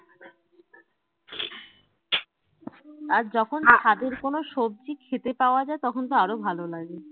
আর যখন ছাদের কোনো সবজি খেতে পাওয়া যায় তখন তো আরো ভালো লাগে